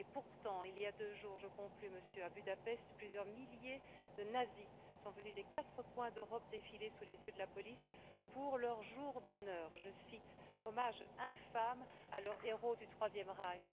Pourtant, il y a deux jours je conclus, Monsieur le Président à Budapest, plusieurs milliers de nazis sont venus des quatre coins d'Europe défiler sous les yeux de la police pour leur jour d'honneur, je cite, hommage infâme à leurs héros du IIIe Reich.